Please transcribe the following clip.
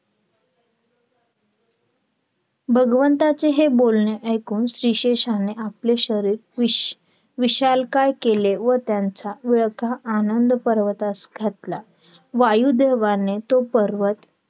भगवंताचे हे बोलणे ऐकून शेषाने आपले शरीर विष विशालकाय केले व त्यांचा विळखा आनंद पार्वतास घातला. वायुदेवाने तो पर्वत